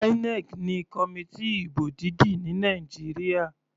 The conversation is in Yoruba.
INEC ni committee ìbò dídì ní Nàìjíríà.